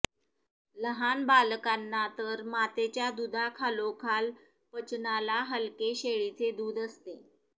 लहान बालकांना तर मातेच्या दुधाखालोखाल पचनाला हलके शेळीचे दूध असते